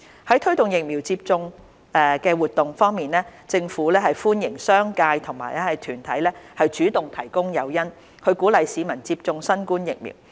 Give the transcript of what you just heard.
推廣疫苗接種的活動政府歡迎商界和團體主動提供誘因，鼓勵市民接種新冠疫苗。